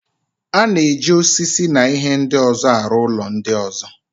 A na-eji osisi na ihe ndị ọzọ arụ ụlọ ndị ọzọ.